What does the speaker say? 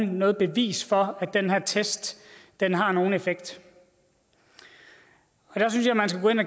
noget bevis for at den her test har nogen effekt jeg